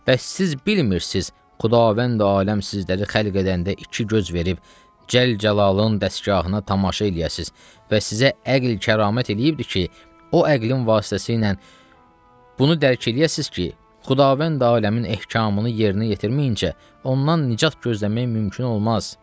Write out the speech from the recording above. Bəs siz bilmirsiz, Xudavənd aləm sizləri xəlq edəndə iki göz verib, Cəlcəlalın dəsgahına tamaşa eləyəsiz və sizə əql kəramət eləyibdir ki, o əqlin vasitəsiylə bunu dərk eləyəsiz ki, Xudavənd aləmin ehkamını yerinə yetirməyincə, ondan nicat gözləmək mümkün olmaz.